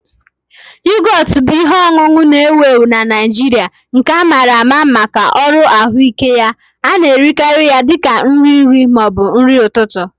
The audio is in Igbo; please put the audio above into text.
Yogọt bụ ihe ọṅụṅụ na-ewu ewu na Naijiria nke amara maka uru ahụike ya. A na-erikarị ya dị ka nri nri ma ọ bụ nri ụtụtụ